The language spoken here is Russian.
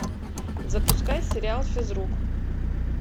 запускай сериал физрук